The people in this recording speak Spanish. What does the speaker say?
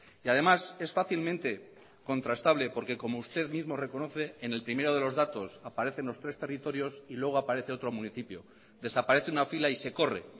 y además es fácilmente contrastable porque como usted mismo reconoce en el primero de los datos aparecen los tres territorios y luego aparece otro municipio desaparece una fila y se corre